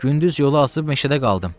Gündüz yola azıb meşədə qaldım.